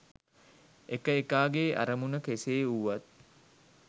එක එකාගේ අරමුණ කෙසේ වුවත්